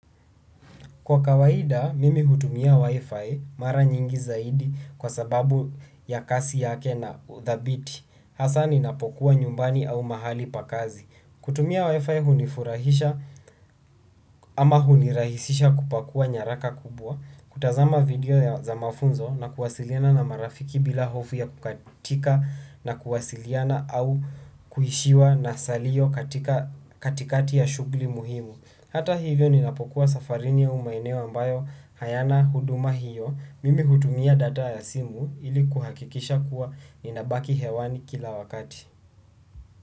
Kwa kawaida, mimi utumia Wi-Fi mara nyingi zaidi kwa sababu ya kasi yake na utabiti. Hasa ninapokuwa nyumbani au mahali pa kazi. Kutumia Wi-Fi hunifurahisha ama hunirahisisha kupakua nyaraka kubwa. Kutazama video za mafunzo na kuwasiliana na marafiki bila hofu ya kukatika na kuwasiliana au kuhishiwa na salio katikati ya shugli muhimu. Hata hivyo ninapokuwa safarini au maeneo ambayo hayana huduma hiyo mimi hudumia data ya simu ili kuhakikisha kuwa ninabaki hewani kila wakati.